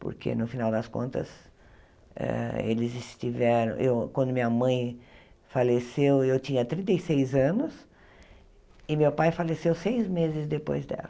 Porque, no final das contas hã, eles tiveram eu... Quando minha mãe faleceu, eu tinha trinta e seis anos, e meu pai faleceu seis meses depois dela.